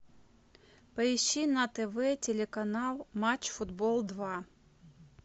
поищи на тв телеканал матч футбол два